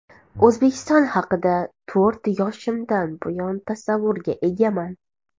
O‘zbekiston haqida to‘rt yoshimdan buyon tasavvurga egaman.